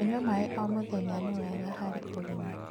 kũnyua maĩ o mũthenya ni wega harĩ ũgima